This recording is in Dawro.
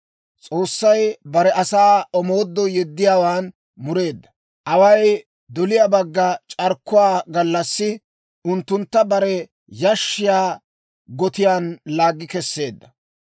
S'oossay bare asaa omoodoo yeddiyaawaan mureedda; away doliyaa bagga c'arkkuwaa gallassi unttuntta bare yashshiyaa gotiyaan laaggi kesseedda.